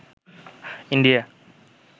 India